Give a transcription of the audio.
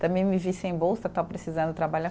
Também me vi sem bolsa, estava precisando trabalhar.